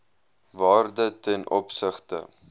waarde ten opsigte